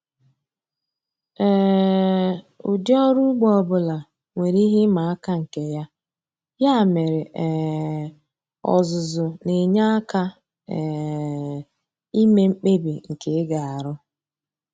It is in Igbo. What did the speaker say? um Ụdị ọrụ ugbo ọ bụla nwere ihe ịma aka nke ya, ya mere um ọzụzụ na-enye aka um ime mkpebi nke ị ga-arụ